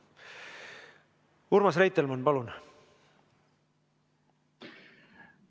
Urmas Reitelmann, palun!